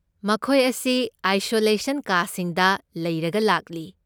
ꯃꯈꯣꯏ ꯑꯁꯤ ꯑꯥꯏꯁꯣꯂꯦꯁꯟ ꯀꯥꯁꯤꯡꯗ ꯂꯩꯔꯒ ꯂꯥꯛꯂꯤ꯫